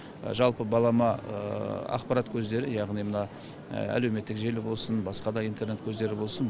жалпы балама ақпарат көздері яғни мына әлеуметтік желі болсын басқа да интернет көздері болсын